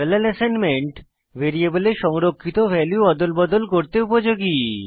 parallel assignment ভ্যারিয়েবলে value অদল বদল করতে উপযোগী